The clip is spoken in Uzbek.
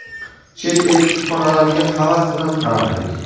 Chet el kutubxonalariga havas bilan qarardik.